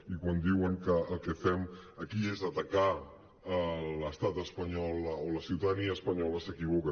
i quan diuen que el que fem aquí és atacar l’estat espanyol o la ciutadania espanyola s’equivoca